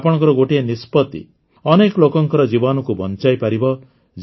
ଆପଣମାନଙ୍କର ଗୋଟିଏ ନିଷ୍ପତି ଅନେକ ଲୋକଙ୍କର ଜୀବନକୁ ବଂଚାଇପାରିବ